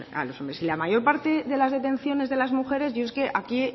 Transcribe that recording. a los hombres y la mayor parte de las detenciones de las mujeres yo es que aquí